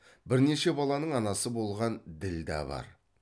бірнеше баланың анасы болған ділдә бар